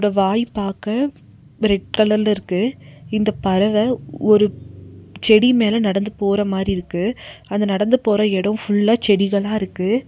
வாய் பாக்க ரெட் கலர்ல இருக்கு இந்த பறவ ஒரு செடி மேல நடந்து போற மாரி இருக்கு அது நடந்து போற எடோ ஃபுல்லா செடிகளா இருக்கு.